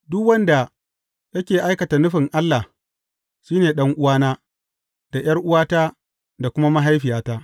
Duk wanda yake aikata nufin Allah, shi ne ɗan’uwana, da ’yar’uwata, da kuma mahaifiyata.